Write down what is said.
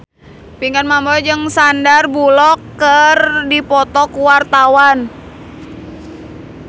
Pinkan Mambo jeung Sandar Bullock keur dipoto ku wartawan